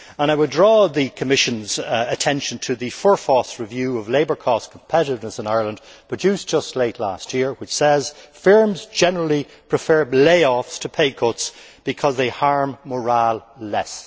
And I would draw the Commission's attention to the Forfás review of labour cost competitiveness in Ireland, produced late last year, which says that firms generally prefer layoffs to pay cuts because they harm morale less.